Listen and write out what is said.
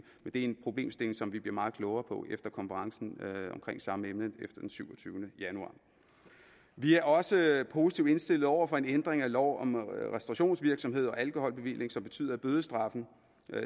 en problemstilling som vi bliver meget klogere på efter konferencen omkring samme emne den syvogtyvende januar vi er også positivt indstillet over for en ændring af lov om restaurationsvirksomhed og alkoholbevilling som betyder at bødestraffen